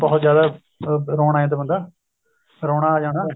ਬਹੁਤ ਜਿਆਦਾ ਰੋਣ ਲੱਗ ਜਾਂਦਾ ਬੰਦਾ ਰੋਨਾ ਆ ਜਾਣਾ